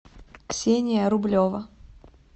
ксения рублева